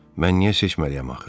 Mən niyə seçməliyəm axı?